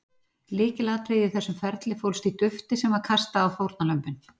Lykilatriðið í þessu ferli fólst í dufti sem var kastað á fórnarlömbin.